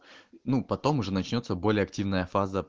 ну потом уже начнётся более активная фаза